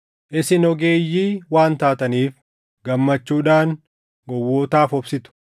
Isin ogeeyyii waan taataniif gammachuudhaan gowwootaaf obsitu!